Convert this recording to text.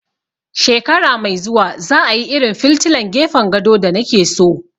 Shekara mai zuwa za a yi irin filtilan gefen gado da na ke so